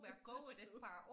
Synes du?